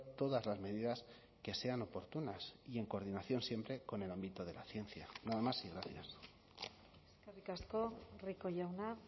todas las medidas que sean oportunas y en coordinación siempre con el ámbito de la ciencia nada más y gracias eskerrik asko rico jauna